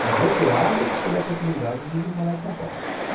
conjeturado sobre a possibilidade de vir morar em São Paulo.